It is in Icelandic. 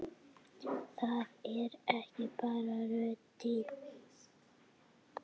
Það er ekki bara röddin.